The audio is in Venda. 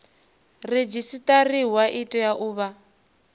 redzisiṱariwa i tea u vha